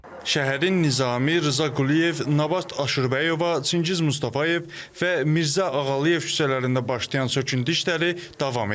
Şəhərin Nizami, Rza Quliyev, Nabat Aşurbəyova, Çingiz Mustafayev və Mirzə Ağalıyev küçələrində başlayan söküntü işləri davam edir.